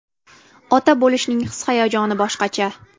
Ota bo‘lishning his-hayajoni boshqacha.